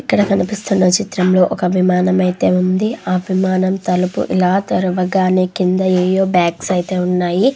ఇక్కడ కనిపిస్తున చిత్రంలో ఒక విమానము అయితే ఉంది. ఆ విమానం తలుపు ఇలా తెరవగానే కింద ఏవో బాగ్స్ అయితే ఉన్నాయి.